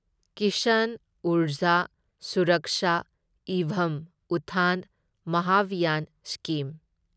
Kisan Urja Suraksha evam Utthan Mahabhiyan scheme